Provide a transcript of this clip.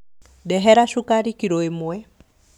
Ndehera cukari kiro ĩmwe